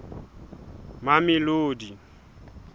mamelodi